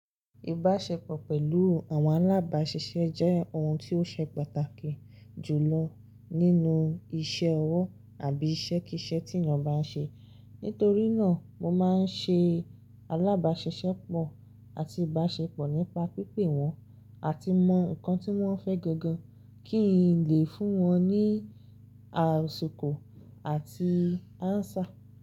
Ìbáṣepọ̀ pẹ̀lú àwọn alábáṣiṣẹ́ jẹ́ ohun tí ó ṣe pàtàkì jù lọ nínú iṣẹ́ ọwọ́ àbí iṣẹ́ kí iṣẹ́ tí èèyàn bá ń ṣe. Nítorí náà, mo máa ń ṣe alábáṣiṣẹ́pọ̀ àti ìbáṣepọ̀ nípa pípè wọ́n àti mọ nǹkan tí wọ́n fẹ́ gangan kí n lè fún wọn ní àìsòkò àti áńsá.